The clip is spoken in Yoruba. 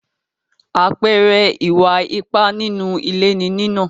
Àpẹẹrẹ Ìwà ipá nínú ilé ni nínà.